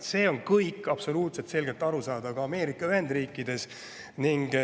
Sellest saadakse absoluutselt selgelt aru ka Ameerika Ühendriikides.